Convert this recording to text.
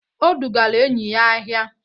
O dugara enyi ya ahịa.